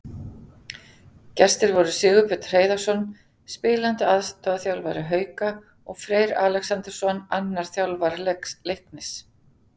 Gestir voru Sigurbjörn Hreiðarsson, spilandi aðstoðarþjálfari Hauka, og Freyr Alexandersson, annar þjálfara Leiknis.